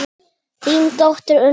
Þín dóttir, Unnur Eva.